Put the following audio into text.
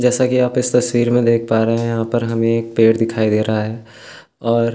जैसा की आप इस तस्वीर में देख पा रहे हैं यहाँ पर हमे एक पेड़ दिखाई दे रहा है और --